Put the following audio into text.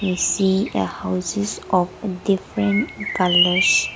we see a houses of different colours.